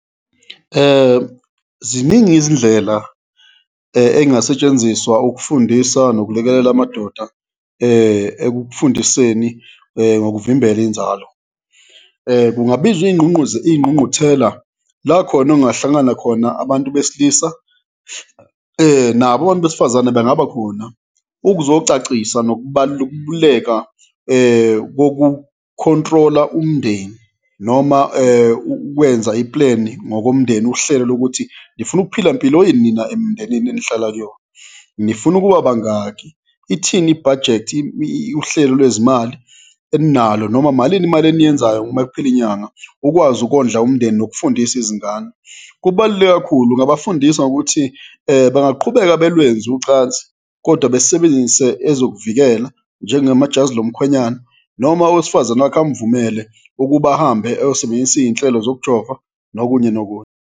Ziningi izindlela ey'ngasetshenziswa ukufundisa nokulekelela amadoda ekufundiseni ngokuvimbela inzalo. Kungabizwa iy'ngqungquthela la khona ekungahlangana khona abantu besilisa, nabo abantu besifazane bengabakhona ukuzocacisa nokubaluleka kokukhontrola umndeni noma ukwenza i-plan-i ngokomndeni, uhlelo lokuthi nifuna ukuphila mpilo ini nina emndenini enihlala kuyona? Nifuna ukuba bangaki? Ithini i-budget, uhlelo lwezimali eninalo noma malini imali eniyenzayo mekuphela inyanga? Ukwazi ukondla umndeni nokufundisa izingane, kubaluleke kakhulu. Ngingabafundisa ngokuthi bangaqhubeka belwenze ucansi kodwa besebenzise ezokuvikela njengama jazi lomkhwenyana noma owesifazane wakhe amuvumele ukuba ahambe eyosebenzisa iy'nhlelo zokujova nokunye nokunye.